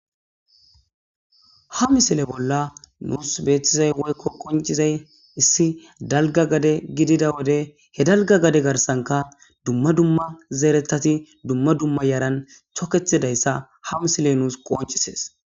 Haa missile bolla nusi betizayissi woyikko qonccizayiss dalgga gade gidida wode hee dalgga gade garissankka dumma dumma zereththatti dumma dumma yaranni toketidayissa haa misileyi nusi qonccisess.